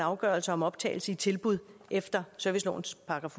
at afgørelser om optagelse i tilbud efter servicelovens §